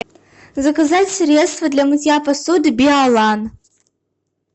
заказать средство для мытья посуды биолан